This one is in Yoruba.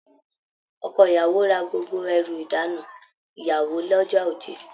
Ọkọ ìyàwó rà gbogbo ẹrù ìdána ìyàwó l'ọja Oje.